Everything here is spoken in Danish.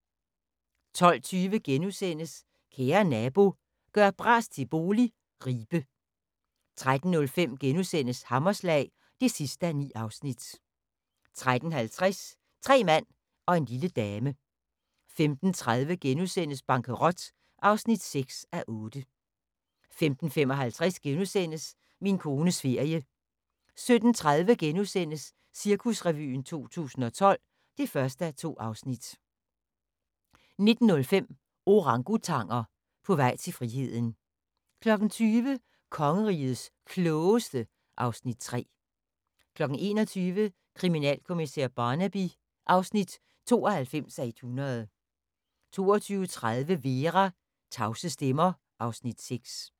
12:20: Kære nabo – gør bras til bolig – Ribe * 13:05: Hammerslag (9:9)* 13:50: Tre mand og en lille dame 15:30: Bankerot (6:8)* 15:55: Min kones ferie * 17:30: Cirkusrevyen 2012 (1:2)* 19:05: Orangutanger – på vej til friheden 20:00: Kongerigets Klogeste (Afs. 3) 21:00: Kriminalkommissær Barnaby (92:100) 22:30: Vera: Tavse stemmer (Afs. 6)